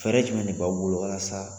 Fɛɛrɛ jumɛn de b'aw bolo la sa?